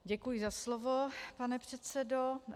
Děkuji za slovo, pane předsedo.